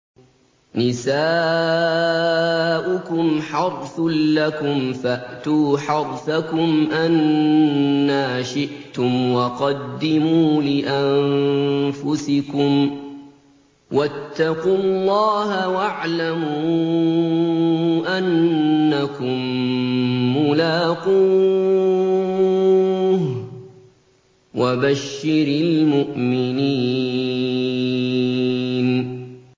نِسَاؤُكُمْ حَرْثٌ لَّكُمْ فَأْتُوا حَرْثَكُمْ أَنَّىٰ شِئْتُمْ ۖ وَقَدِّمُوا لِأَنفُسِكُمْ ۚ وَاتَّقُوا اللَّهَ وَاعْلَمُوا أَنَّكُم مُّلَاقُوهُ ۗ وَبَشِّرِ الْمُؤْمِنِينَ